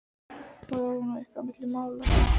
Fór það nú eitthvað á milli mála?